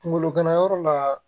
Kunkolo ganayɔrɔ la